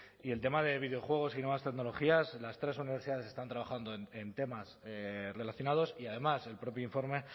y el tema de videojuegos y nuevas tecnologías las tres universidades están trabajando en temas relacionados y además el propio informe